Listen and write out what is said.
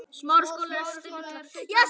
Hafði ekki hugmynd um það.